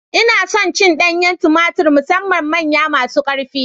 Ina son cin danyen tumatur musamman manyan masu ƙarfi